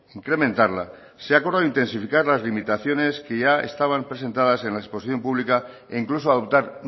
incrementarla se ha acordado intensificar las limitaciones que ya estaban presentadas en la exposición pública e incluso adoptar